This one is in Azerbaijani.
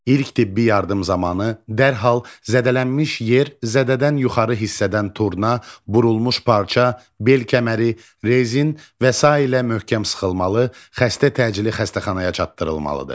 İlk tibbi yardım zamanı dərhal zədələnmiş yer zədədən yuxarı hissədən turna, burulmuş parça, bel kəməri, rezin və sairə möhkəm sıxılmalı, xəstə təcili xəstəxanaya çatdırılmalıdır.